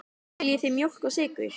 Viljið þið mjólk og sykur?